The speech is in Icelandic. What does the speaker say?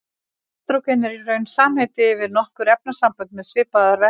Estrógen er í raun samheiti yfir nokkur efnasambönd með svipaða verkun.